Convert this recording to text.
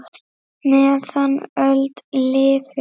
meðan öld lifir